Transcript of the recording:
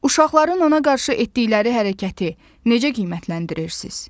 Uşaqların ona qarşı etdikləri hərəkəti necə qiymətləndirirsiz?